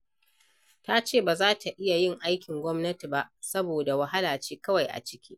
Ta ce ba za ta iya yin aikin gwamnati ba, saboda wahala ce kawai a ciki.